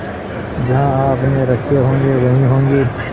जहाँ आपने रखे होंगे वहीं होंगे